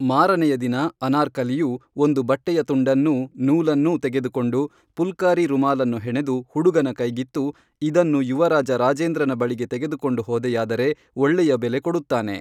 ಮಾರನೆಯದಿನ ಅನಾರ್ಕಲಿಯು ಒಂದು ಬಟ್ಟೆಯ ತುಂಡನ್ನೂ ನೂಲನ್ನೂ ತೆಗೆದುಕೊಂಡು ಪುಲ್ಕಾರೀ ರುಮಾಲನ್ನು ಹೆಣೆದು ಹುಡುಗನ ಕೈಗಿತ್ತು ಇದನ್ನು ಯುವರಾಜ ರಾಜೇಂದ್ರನ ಬಳಿಗೆ ತೆಗೆದು ಕೊಂಡು ಹೋದೆಯಾದರೆ ಒಳ್ಳೆಯ ಬೆಲೆ ಕೊಡುತ್ತಾನೆ